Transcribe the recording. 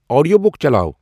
audio book چلاو